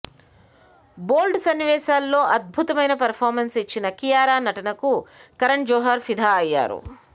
బోల్డ్ సన్నివేశాల్లో అద్భుతమైన పెర్ఫార్మన్స్ ఇచ్చిన కియారా నటనకు కరణ్ జోహార్ ఫిదా అయ్యాడు